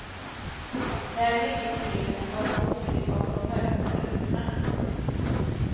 Väl inne i bilen var hon osynlig bakom de mörktonade rutorna. punkt